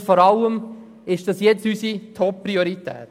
Und vor allem, ist dies unsere Toppriorität?